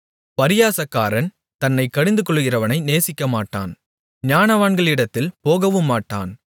பரியாசக்காரன் தன்னைக் கடிந்துகொள்ளுகிறவனை நேசிக்கமாட்டான் ஞானவான்களிடத்தில் போகவுமாட்டான்